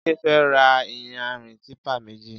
Jide fè rà iyànrín tìpá méji